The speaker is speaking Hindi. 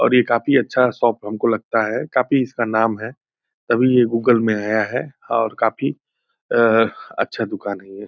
और ये काफी अच्छा शॉप हमको लगता है। काफी इसका नाम है तभी ये गूगल में आया है और काफी अ अच्छा दूकान है ये।